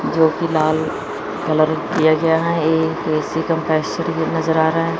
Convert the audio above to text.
जो कि लाल कलर किया गया है। एक ए_सी कंप्रेसर भी नजर आ रहा है।